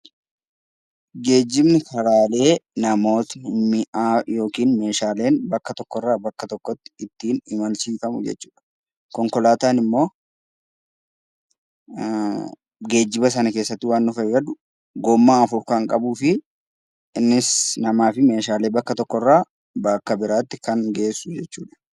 Geejjibni karaalee namooti, mi'aa, yookiin meeshaaleen bakka tokko irraa bakka tokkotti ittiin imalchiifamu jechuu dha. Konkolaataan immoo geejjiba sana keessatti waan nu fayyadu, gommaa afur kan qabuu fi innis namaa fi meeshaalee bakka tokko irraa bakka biraatti kan geessu jechuu dha.